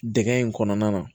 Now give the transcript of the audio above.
Dɛgɛ in kɔnɔna na